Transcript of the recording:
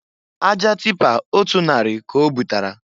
Aja tipa otu narị ka obutara.